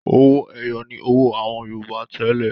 Owó-ẹyọ ni owó àwọn Yorùbá tẹ́lẹ̀.